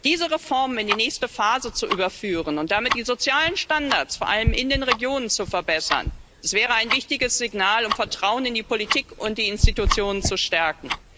Diese Reformen in die nächste Phase zu überführen und damit die sozialen Standards vor allem in den Regionen zu verbessern, wäre ein wichtiges Signal, um Vertrauen in die Politik und die Institutionen zu stärken.